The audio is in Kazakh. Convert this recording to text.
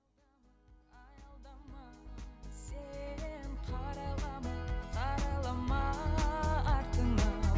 сен қарайлама қарайлама артыңа